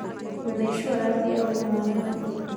Wĩna icuarathi ya ũgima wa mwĩrĩ